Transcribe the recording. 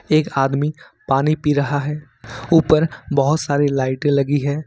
एक आदमी पानी पी रहा है ऊपर बहोत सारी लाइटें लगी है।